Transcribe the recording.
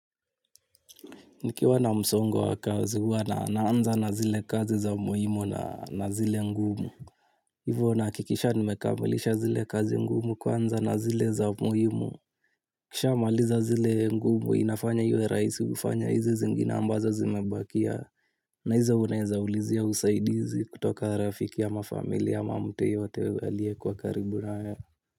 Niki wana msongo wa kazihuwana na anza na zile kazi za muhimu na zile ngumu. Hivyonaha kikisha nimekamilisha zile kazi ngumu kwa anza na zile za muhimu nikishaa maliza zile ngumu inafanya iwe rahisi kufanya hizi zingine ambazo zimebakia. Na hizo unaweza ulizia usaidizi kutoka rafiki a mafamilia mtuyoyotea liye kuwa karibu nawewe.